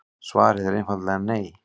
Svarið er einfalt nei.